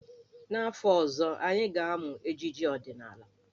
N'afọ ọzọ, anyị ga-amụ ejije ọdịnaala.